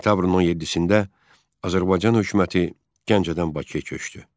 Sentyabrın 17-də Azərbaycan hökuməti Gəncədən Bakıya köçdü.